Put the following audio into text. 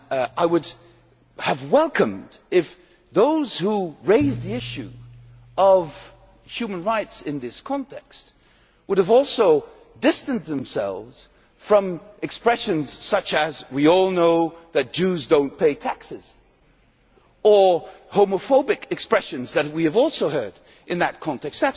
I would have welcomed it if those who raised the issue of human rights in this context had also distanced themselves from expressions such as we all know that Jews do not pay taxes' or homophobic expressions that we have also heard in that context.